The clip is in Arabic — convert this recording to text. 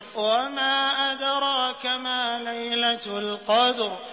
وَمَا أَدْرَاكَ مَا لَيْلَةُ الْقَدْرِ